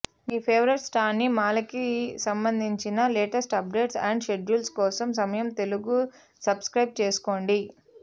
మీ favourite స్టార్స్సినిమాలకిసంబంధించిన latest updates and schedules కోసం సమయం తెలుగు సబ్స్క్రైబ్ చేసుకోండి